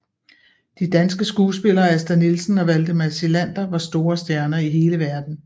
De danske skuespillere Asta Nielsen og Valdemar Psilander var store stjerner i hele verden